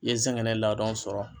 I ye sɛgɛnɛ ladɔn sɔrɔ.